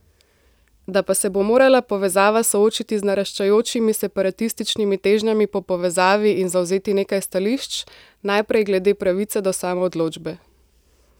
Da pa se bo morala povezava soočiti z naraščajočimi separatističnimi težnjami po povezavi in zavzeti nekaj stališč: "Najprej glede pravice do samoodločbe.